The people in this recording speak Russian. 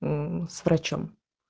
мм с врачом